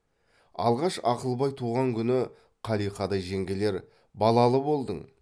алғаш ақылбай туған күні қалиқадай жеңгелер балалы болдың